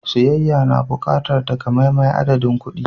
Siyayya na buƙatar takamaiman adadin kuɗi.